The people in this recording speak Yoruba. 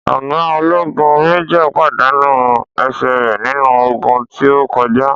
Ọ̀ga ológun (Májòr) pàdánù ẹsẹ̀ rè nínú ogun tí o kọjá